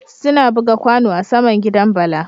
Suna buga kwano a saman gidan bala